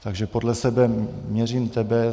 Takže podle sebe měřím tebe.